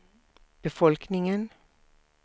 befolkningen